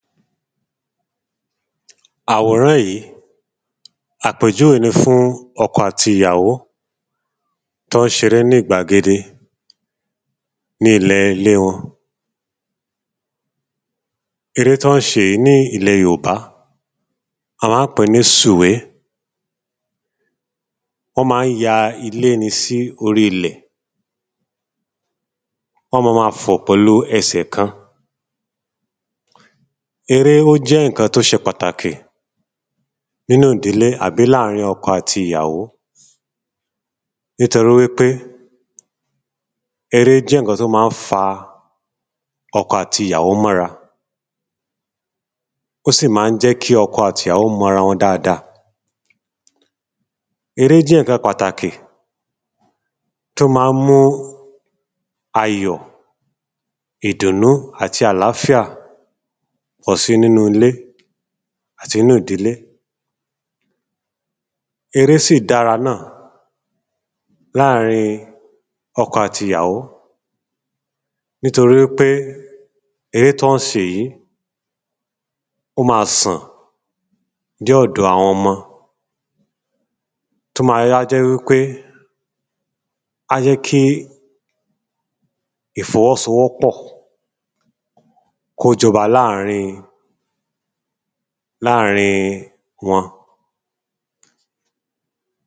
Àwòrán yí, ó jẹ́ àpèjúwé fún ọkọ àti ìyàwó t’ọ́ ń ṣ'eré ní gbàgede ní ilẹ̀ ‘lé wọn Eré t'ọ́ ń ṣe yìí ní ilẹ̀ yòbá a má ń pè ní sùwé. Ọ́ ma ń ya ilé ni sí ilẹ̀. Ọ́ ma ma fọ̀ pẹ̀lú ẹsẹ̀ kan Eré ó jẹ́ ǹkan t'ó ṣe patakì n'ínú ìdílé àbí láàrin ọkọ àti ìyàwó. Nítorí wí pé eré jẹ́ ǹkan t’ó má ń fa ọkọ àti ìyàwó mọ́ 'ra. Ó sì má ń jẹ́ kí ọkọ àti ìyàwó mọ́ 'ra dada Eré ó jẹ́ ǹkan patakì t’ó má ń mú ayọ̀, ìdùnú àti àláfíà pọ̀ si n'ínú ilé àti n'ínú ìdílé. Eré sì dára náà láàrin ọkọ àti ìyàwó Nítorí wí pé eré tí wọ́n ṣe yìí sàn dé ọ̀dọ̀ àwọn ọmọ. T’ó ma wá jẹ́ wí pé á jẹ́ kí ìfọwọ́sọwọ́pọ̀ k’ó jọba láàrin láàrin wọn.